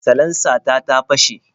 Salansa ta ta fashe.